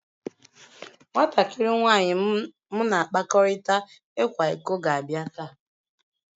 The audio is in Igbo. Nwatakịrị nwanyị m na-akpakọrịta ịkwa iko ga-abịa taa